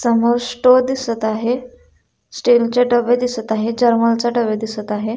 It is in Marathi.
समोर स्टोव्ह दिसत आहे स्टिलचे डबे दिसत आहे जर्मलचे डबे दिसत आहे.